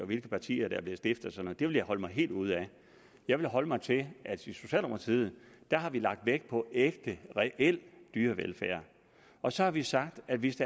hvilke partier der er blevet stiftet og det vil jeg holde mig helt ude af jeg vil holde mig til at i socialdemokratiet har vi lagt vægt på ægte reel dyrevelfærd og så har vi sagt at hvis